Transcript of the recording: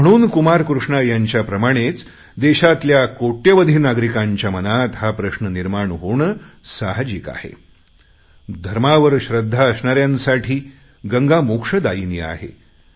आणि म्हणून कुमार कृष्णा यांच्या प्रमाणेच देशातल्या कोट्यवधी नागरिकांच्या मनात हा प्रश्न निर्माण होणे साहाजिक आहे धर्मावर श्रद्धा असणाऱ्यांसाठी गंगा मोक्षदायिनी आहे